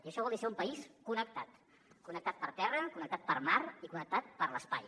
i això vol dir ser un país connectat connectat per terra connectat per mar i connectat per l’espai